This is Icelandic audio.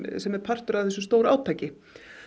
sem er partur af þessu stórátaki